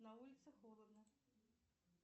на улице холодно